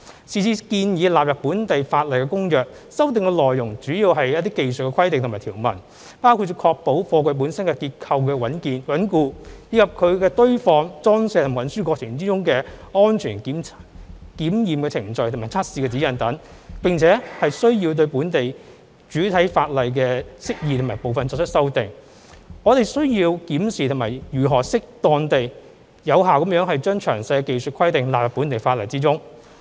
是次建議納入本地法例的《公約》修訂內容主要為技術規定和條文，包括為確保貨櫃本身結構穩固，以及在其堆放、裝卸和運輸過程中安全的檢驗程序和測試指引等，並且需要對本地主體法例的釋義部分作出修訂，我們需要檢視如何適當而有效地把詳細的技術性規定納入本地法例中。